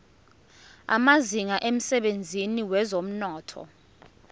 amazinga emsebenzini wezomnotho